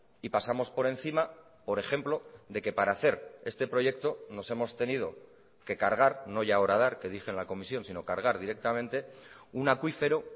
y pasamos por encima por ejemplo de que para hacer este proyecto nos hemos tenido que cargar no ya a horadar que dije en la comisión sino cargar directamente un acuífero